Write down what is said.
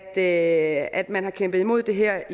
at at man har kæmpet imod det her